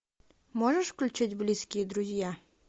можешь включить близкие друзья